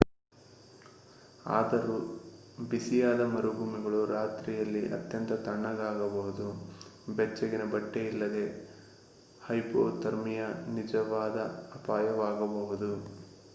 ಆದರೊ ಬಿಸಿಯಾದ ಮರುಭೂಮಿಗಳು ರಾತ್ರಿಯಲ್ಲಿ ಅತ್ಯಂತ ತಣ್ಣಗಾಗಬಹುದು.ಬೆಚ್ಚಗಿನ ಬಟ್ಟೆ ಇಲ್ಲದೆ hypothermia ನಿಜವಾದ ಅಪಾಯವಾಗಬಹುದು